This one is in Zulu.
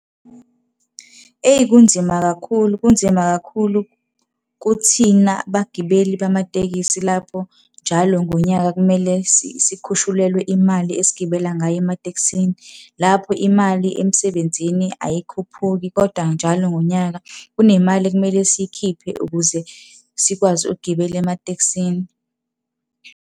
Eyi kunzima kakhulu, kunzima kakhulu kuthina bagibeli bamatekisi lapho njalo ngonyaka kumele sikhushulelwe imali esigibela ngayo ematekisini. Lapho imali emsebenzini ayikhuphuki kodwa njalo ngonyaka kunemali ekumele siyikhiphe ukuze sikwazi ukugibela ematekisini.